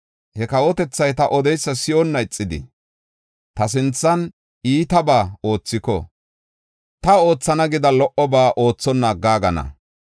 he kawotethay ta odeysa si7onna ixidi, ta sinthan iitabaa oothiko, ta oothana gida lo77oba oothonna aggaagana.